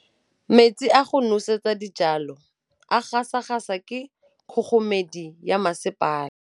Metsi a go nosetsa dijalo a gasa gasa ke kgogomedi ya masepala.